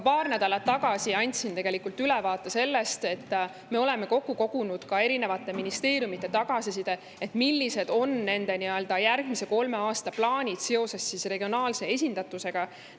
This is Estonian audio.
Paar nädalat tagasi andsin ülevaate sellest, et me oleme kokku kogunud ministeeriumide tagasiside, millised on nende järgmise kolme aasta plaanid seoses regionaalse esindatusega.